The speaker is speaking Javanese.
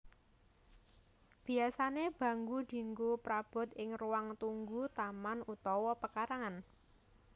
Biasané bangku dianggo prabot ing ruang tunggu taman utawa pekarangan